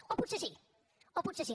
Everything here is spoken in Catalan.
o potser sí o potser sí